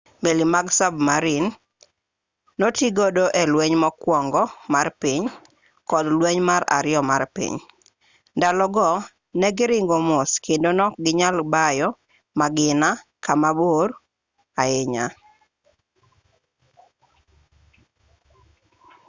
meli mag sabmarin notigodo e lweny mokuongo mar piny kod lweny mar ariyo mar piny ndalo go ne giringo mos kendo ne okginyal bayo magina kamabor ahinya